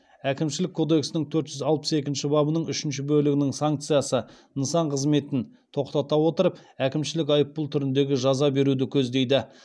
әкімшілік кодекстің төрт жүз алпыс екінші бабының үшінші бөлігінің санкциясы нысан қызметін тоқтата отырып әкімшілік айыппұл түріндегі жаза беруді көздейді